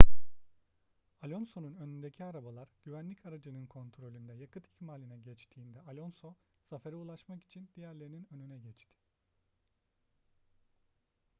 alonso'nun önündeki arabalar güvenlik aracının kontrolünde yakıt ikmaline geçtiğinde alonso zafere ulaşmak için diğerlerinin önüne geçti